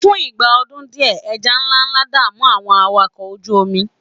fún ìgbà ọdún diẹ eja nlánlá da'mu àwọn awakọ oju omi